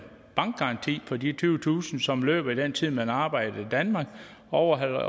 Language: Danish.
bankgaranti for de tyvetusind kr som løber i den tid hvor man arbejder i danmark overholder